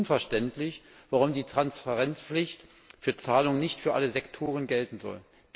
Es ist unverständlich, warum die Transparenzpflicht für Zahlungen nicht für alle Sektoren gelten soll.